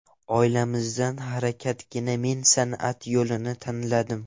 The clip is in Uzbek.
Oilamizdan faqatgina men san’at yo‘lini tanladim.